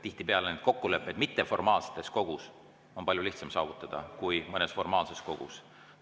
Tihtipeale on neid kokkuleppeid mitteformaalses kogus palju lihtsam saavutada kui mõnes formaalses kogus.